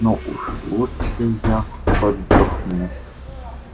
но уж лучше я отдохну